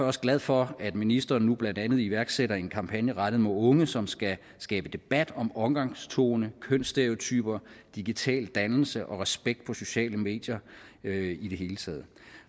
også glad for at ministeren nu blandt andet iværksætter en kampagne rettet mod unge som skal skabe debat om omgangstone kønsstereotyper digital dannelse og respekt på sociale medier i det hele taget